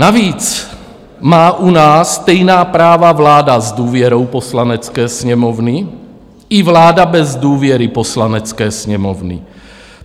Navíc má u nás stejná práva vláda s důvěrou Poslanecké sněmovny i vláda bez důvěry Poslanecké sněmovny.